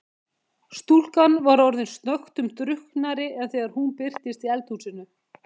Stúlkan var orðin snöggtum drukknari en þegar hún birtist í eldhúsinu.